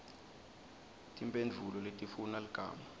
timphendvulo letifuna ligama